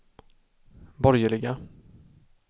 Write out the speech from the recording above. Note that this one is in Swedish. borgerliga